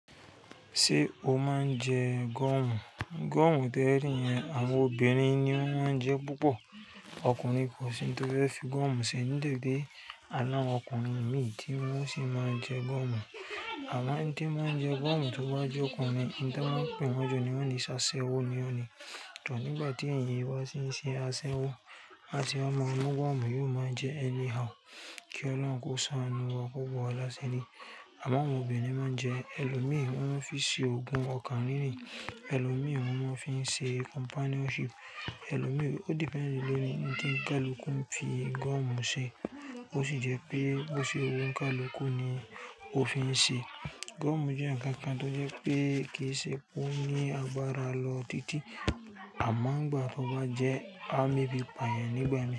Ṣé o máa ń jẹ gọ̀mù? Gọ̀mù tẹ́rí yẹn àwọn obìnrin ni wọ́n máa ń jẹ púpọ̀. Ọkùnrin, kò sí oun tó fẹ́ fi goomù ṣe. Àmo a ni awon ọkùnrin mìí tí wọ́n sì máa ń jẹ goọ̀mù. Amo eni to máa ń jẹ goọ̀mù tó bá jẹ́ ọkùnrin, ohun ti won máa ń pè wọ́n jù ni wọ́n lè so pe ṣa'ṣẹ́wó ni ó ni. To nìgbà tí èèyàn yìí bá sì ń ṣe asẹ́wó, ase máa mu gúmù yóò máa jẹ́ anyhow. Kí Ọlọ́run kò ṣánú wa ko bo wa lásiri Amon awọn obìnrin máa ń jẹ ẹlòmíi, wọ́n máa ń fi ṣe òògùn ọkàn ríri. Elòmí wọ́n máa ń fi ṣe companionship. Elòmí ó depends lórí ohun tí kaluku ń fi gúọ̀mù ṣe. Ó sì jẹ́ pé bó ṣe wu onikaluku ni ó fi ń ṣe. Gúọ̀mù jẹ́ ǹkan kan tó jẹ́ pé kì í ṣe kó ní agbára lọ títí àmọ́ ngbà tó bá jẹ́ a mu ebí pàyàn nígbà náà.